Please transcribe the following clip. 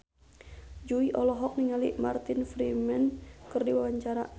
Jui olohok ningali Martin Freeman keur diwawancara